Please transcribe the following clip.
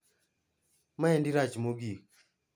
Maendi rach mogik.